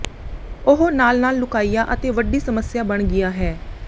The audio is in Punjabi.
ਉਹ ਨਾਲ ਨਾਲ ਲੁਕਾਇਆ ਅਤੇ ਵੱਡੀ ਸਮੱਸਿਆ ਬਣ ਗਿਆ ਹੈ